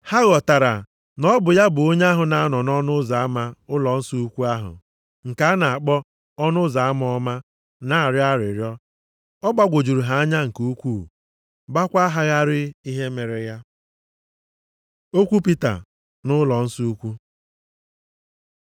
ha ghọtara na ọ bụ ya bụ onye ahụ na-anọ nʼọnụ ụzọ ama ụlọnsọ ukwu ahụ, nke a na-akpọ ọnụ ụzọ ama ọma na-arịọ arịrịọ. Ọ gbagwojuru ha anya nke ukwuu, gbakwa ha gharịị ihe mere ya. Okwu Pita nʼụlọnsọ ukwu